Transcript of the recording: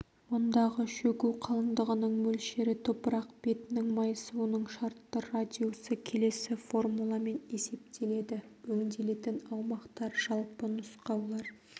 мұндағы шөгу қалыңдығының мөлшері топырақ бетінің майысуының шартты радиусы келесі формуламен есептеледі өңделетін аумақтар жалпы нұсқаулар